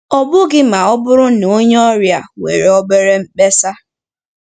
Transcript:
Ọ bụghị ma ọ bụrụ na onye ọrịa nwere obere mkpesa.